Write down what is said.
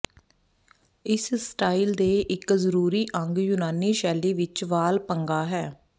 ਇਸ ਸਟਾਈਲ ਦੇ ਇੱਕ ਜ਼ਰੂਰੀ ਅੰਗ ਯੂਨਾਨੀ ਸ਼ੈਲੀ ਵਿੱਚ ਵਾਲ ਪੰਗਾ ਹੈ